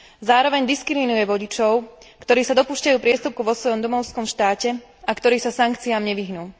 Zároveň diskriminuje vodičov, ktorí sa dopúšťajú priestupku vo svojom domovskom štáte a ktorí sa sankciám nevyhnú.